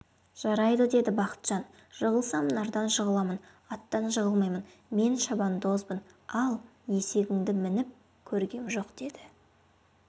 жарайды деді бақытжан жығылсам нардан жығыламын аттан жығылмаймын мен шабандозбын ал есегіңді мініп көргем жоқ деді